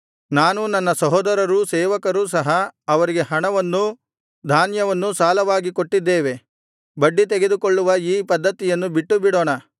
ನಾನೂ ನನ್ನ ಸಹೋದರರೂ ಸೇವಕರೂ ಸಹ ಅವರಿಗೆ ಹಣವನ್ನೂ ಧಾನ್ಯವನ್ನೂ ಸಾಲವಾಗಿ ಕೊಟ್ಟಿದ್ದೇವೆ ಬಡ್ಡಿತೆಗೆದುಕೊಳ್ಳುವ ಈ ಪದ್ಧತಿಯನ್ನು ಬಿಟ್ಟುಬಿಡೋಣ